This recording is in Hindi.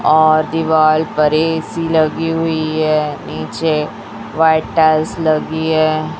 और दिवाल पर ए_सी लगी हुई है नीचे वाइट टाइल्स लगी है।